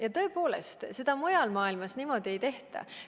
Ja tõepoolest, seda mujal maailmas niimoodi ei tehta.